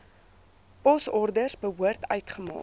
posorders behoort uitgemaak